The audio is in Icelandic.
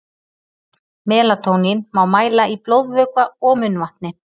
Melatónín má mæla í blóðvökva og munnvatni.